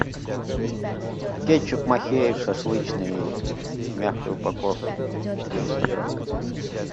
кетчуп махеев шашлычный в мягкой упаковке четыреста грамм